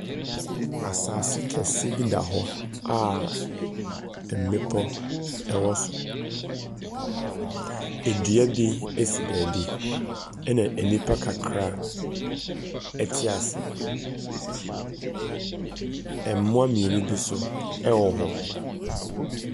Asaase kɛse bi da hɔ a mmepɔ ɛwɔ so. Ɛdua bi ɛsi baabi ɛna ɛnipa kakra ɛte aseɛ. Ɛmoa mmienu bi so ɛwɔ hɔ.